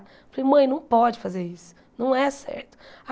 Falei, mãe, não pode fazer isso, não é certo.